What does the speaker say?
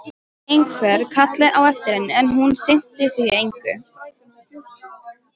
Einhver kallaði á eftir henni, en hún sinnti því engu.